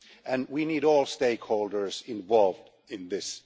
and we need all stakeholders involved in this.